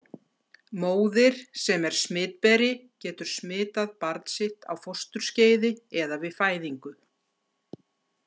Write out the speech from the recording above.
Móðir sem er smitberi getur smitað barn sitt á fósturskeiði eða við fæðingu.